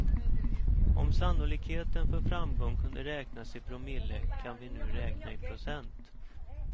Om sannolikheten för framgång kunde räknas i promille kan vi nu räkna i procent.